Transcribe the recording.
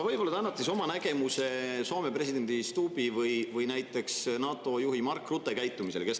Võib-olla te annate siis oma nägemuse Soome presidendi Stubbi või näiteks NATO juhi Mark Rutte käitumisele.